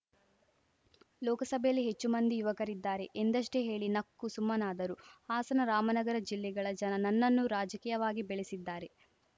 ಲೋಕಸಭೆಯಲ್ಲಿ ಹೆಚ್ಚು ಮಂದಿ ಯುವಕರಿದ್ದಾರೆ ಎಂದಷ್ಟೇ ಹೇಳಿ ನಕ್ಕು ಸುಮ್ಮನಾದರು ಹಾಸನರಾಮನಗರ ಜಿಲ್ಲೆಗಳ ಜನ ನನ್ನನ್ನು ರಾಜಕೀಯವಾಗಿ ಬೆಳೆಸಿದ್ದಾರೆ